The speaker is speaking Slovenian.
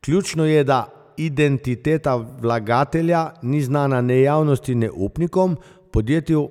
Ključno je, da identiteta vlagatelja ni znana ne javnosti ne upnikom, podjetju